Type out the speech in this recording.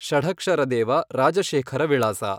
ಷಢಕ್ಷರದೇವ ರಾಜಶೇಖರ ವಿಳಾಸ